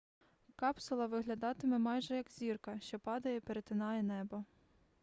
капсула виглядатиме майже як зірка що падає і перетинає небо